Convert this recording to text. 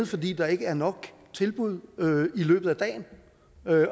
fordi der ikke er nok tilbud i løbet af dagen